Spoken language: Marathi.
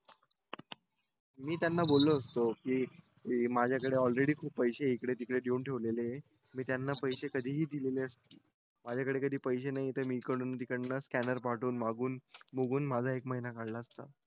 मी त्यांना बोललो असतो की माझ्याकडे ऑलरेडी खूप पैसे हे इकडे तिकडे देऊन ठेवलेली मी त्यांना पैसे कधीही दिलेले असते माझ्याकडे पैसे नाहीत तर मी इकडन तिकडन स्कॅनर पाठवून मागून निघून माझा एक महिना काढला असता